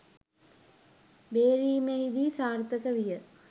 බේරීමෙහි දී සාර්ථක විය